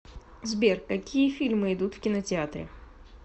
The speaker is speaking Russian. сбер какие фильмы идут в кинотеатре